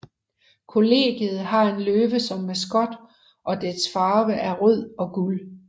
Kollegiet har en løve som maskot og dets farver er rød og guld